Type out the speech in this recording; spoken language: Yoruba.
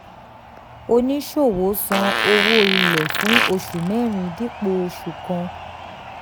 oníṣòwò san owó ilé fún oṣù mẹ́rin dípò oṣù kan.